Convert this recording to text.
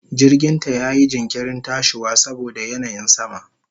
Jirginta yayi jinkirin tashiwa saboda yanayin sama.